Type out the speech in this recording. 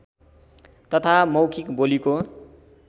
तथा मौखिक बोलीको